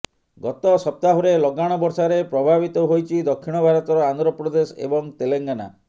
ଗତ ସପ୍ତାହରେ ଲଗାଣ ବର୍ଷାରେ ପ୍ରଭାବିତ ହୋଇଛି ଦକ୍ଷିଣ ଭାରତର ଆନ୍ଧ୍ରପ୍ରଦେଶ ଏବଂ ତେଲେଙ୍ଗାନା